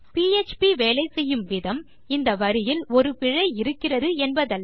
PHP வேலை செய்யும் விதம் இந்த வரியில் ஒரு பிழை இருக்கிறது என்பதல்ல